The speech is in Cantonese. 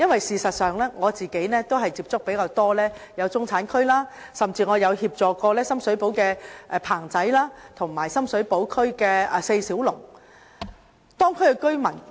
事實上，我較多接觸中產區，甚至協助深水埗"棚仔"和"西九四小龍"的布販及居民。